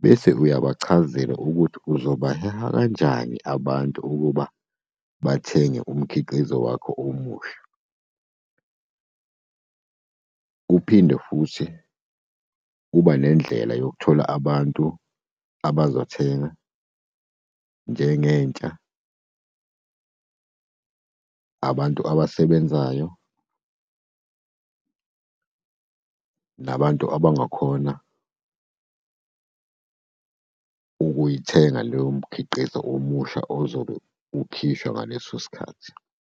Bese uyabachazela ukuthi uzobaheha kanjani abantu ukuba bathenge umkhiqizo wakho omuhle. Uphinde futhi uba nendlela yokuthola abantu abazothenga, njengentsha, abantu abasebenzayo, nabantu abangakhona ukuyithenga leyo mikhiqizo omusha ozobe ukhishwa ngaleso sikhathi.